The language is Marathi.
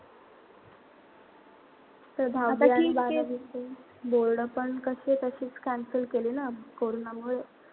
board पण तशेच cancel केले ना कोरोनामुळे.